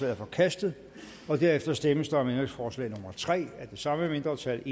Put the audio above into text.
er forkastet derefter stemmes der om ændringsforslag nummer tre af det samme mindretal